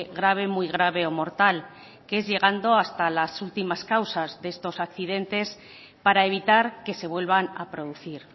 grave muy grave o mortal que es llegando hasta las últimas causas de estos accidentes para evitar que se vuelvan a producir